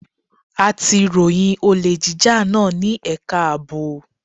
A ti ròyìn olè jíjà náà ní ẹ̀ka ààbò.